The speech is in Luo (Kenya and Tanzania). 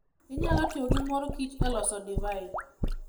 Onyalo tiyo gi mor kich e loso divai.